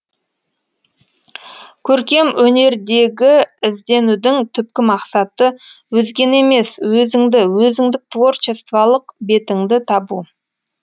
көркем өнердегі ізденудің түпкі мақсаты өзгені емес өзіңді өзіңдік творчестволық бетіңді табу